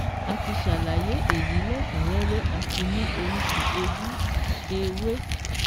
A ti ṣàlàyé èyí lẹ́kùún rẹ́rẹ́ àti ní oríṣi ojú ewé